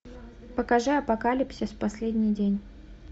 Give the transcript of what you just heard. покажи апокалипсис последний день